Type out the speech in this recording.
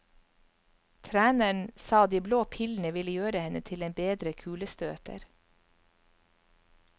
Treneren sa de blå pillene ville gjøre henne til en bedre kulestøter.